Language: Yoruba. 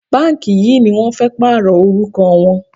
Báǹkì yìí ni wọ́n fẹ́ pààrọ̀ orúkọ wọn.